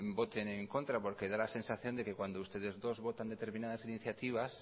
voten en contra porque da la sensación de que cuando ustedes dos votan determinadas iniciativas